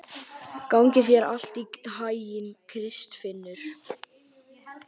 Gangi þér allt í haginn, Kristfinnur.